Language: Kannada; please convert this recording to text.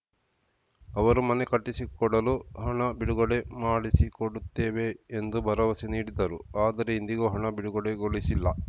ಅವರು ಮನೆ ಕಟ್ಟಿಸಿಕೊಡಲು ಹಣ ಬಿಡುಗಡೆ ಮಾಡಿಸಿಕೊಡುತ್ತೇವೆ ಎಂದು ಭರವಸೆ ನೀಡಿದ್ದರು ಆದರೆ ಇಂದಿಗೂ ಹಣ ಬಿಡುಗಡೆಗೊಳಿಸಿಲ್ಲ